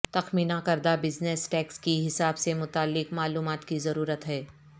تخمینہ کردہ business tax کی حساب سے متعلق معلومات کی ضرورت ہے